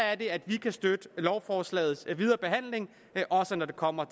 er det at vi kan støtte lovforslagets videre behandling også når det kommer